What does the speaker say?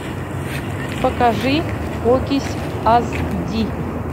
покажи окись аз ди